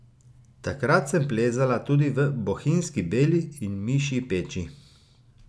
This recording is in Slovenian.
Takrat sem plezala tudi v Bohinjski Beli in Mišji peči.